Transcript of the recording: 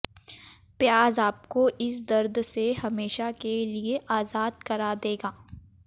प्याज आपको इस दर्द से हमेशा के लिए आजाद करा देगा